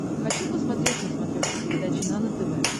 хочу посмотреть на смотрешке передачу нано тв